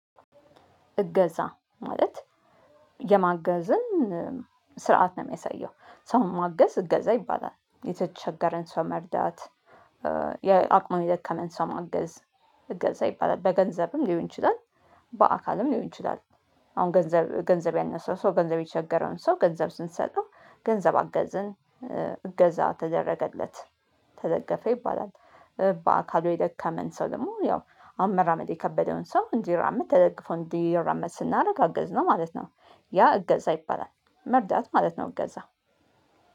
እገዛ ማለት የማገዝን ስርዓት ነው የሚያሳየው ሰው ማገዝ እገዛ ይባላል የተቸገረን ሰው መርዳት የአቅሙን የደከመን ሰው ማገዝ እገዛ ይባላል በገንዘብም ሊሆን ይችላል በአካልም ሊሆን ይችላል። አሁን ገንዘብ ገንዘብ ያነሰው ሰው ገንዘብ የተቸገረውን ሰው ገንዘብ ስንሰጠው ገንዘብ አገዝን እገዛ ተደረገለት ተደገፈ ይባላል። በአካሉ የደከመን ሰው ደግሞ ያው አሁን መራመድ የከበደውን ሰው እንዲራመድ ተደግፎ እንዲራመድ ስናደርግ አገዝነው ማለት ነው። ያ እገዛ ይባላል። መርዳት ማለት ነው። እገዛ